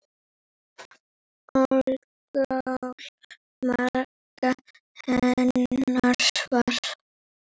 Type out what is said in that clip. Alkóhól magn hennar var.